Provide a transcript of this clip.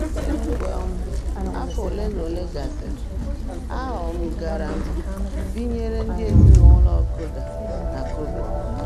Mgbe um afọ olenaole gasịrị, a um gara m binyere ndị ezinụụlọ Koda na Kobe.